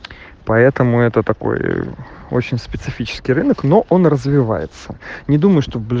поэтому это такой очень специфический рынок но он развивается не думай